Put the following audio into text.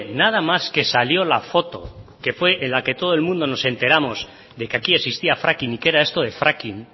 nada más que salió la foto que fue en la que todo el mundo nos enteramos de que aquí existía fracking y qué era esto de fracking